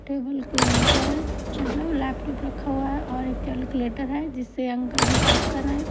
Table के ऊपर मतलब लैपटॉप रखा हुआ है और कैलकुलेटर है जिससे अंकल हिसाब कर रहे हैं।